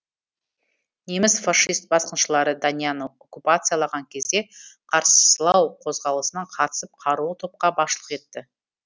неміс фашист басқыншылары данияны окуппациялаған кезде қарсылау қозғалысына қатысып қарулы топқа басшылық етті